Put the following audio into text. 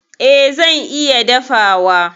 E, zan iya dafawa.